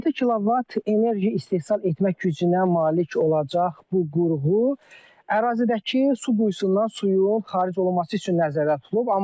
6 kilovat enerji istehsal etmək gücünə malik olacaq bu qurğu, ərazidəki su buysundan suyun xaric olunması üçün nəzərdə tutulub.